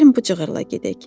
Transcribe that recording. Gəlin bu cığırlala gedək.